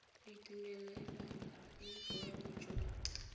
ditumelelano le boemo jo jwa